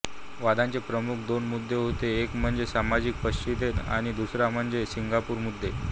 वादाचे प्रमुख दोन मुद्दे होते एक म्हणजे सामाजिक परिच्छेद आणि दुसरा म्हणजे सिंगापूर मुद्दे